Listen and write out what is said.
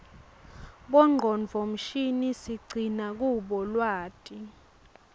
bongcondvo mshini siqcina kubo lwati